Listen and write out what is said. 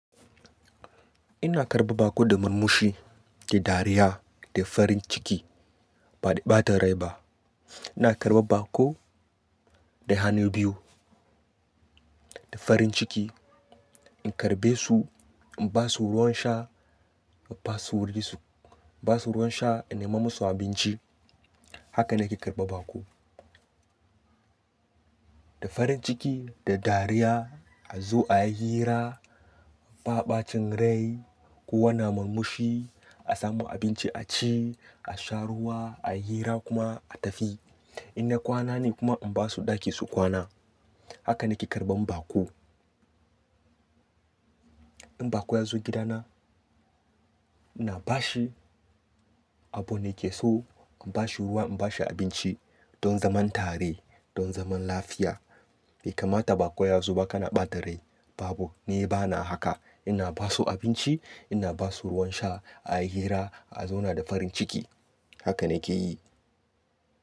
Ina karɓar baƙo da murmushi, da dariya, da farin ciki ba da ɓata rai ba. Ina karɓar baƙo da hannu biyu, da farin ciki. In karbe su, in ba su ruwan sha, in basu wuri su ba su ruwan sha, in nema musu abinci. Haka ne ke karɓar baƙo. Da farin ciki, da dariya, a zo a yi hira, ba ɓacin rai. Ko wanne murmushi, a samu abinci a ci, a sha ruwa, a yi hira kuma a tafi. In na kwana ne kuma in ba su ɗaki su kwana. Haka ne ke karɓan baƙo. In baƙo ya zo gidana, na ba shi abun da yake so, in ba shi ruwa, in ba shi abinci don zaman tare, don zaman lafiya. Bai kama ta baƙo ya zo ba ka na ɓata rai, babu, ni bana haka. Ina ba su abinci, ina ba su ruwan sha, a yi hira, a zauna da farin ciki. Haka ne ke yi.